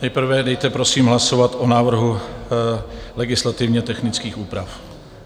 Nejprve dejte, prosím, hlasovat o návrhu legislativně technických úprav.